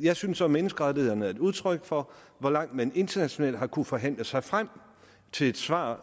jeg synes at menneskerettighederne er et udtryk for hvor langt man internationalt har kunnet forhandle sig frem til et svar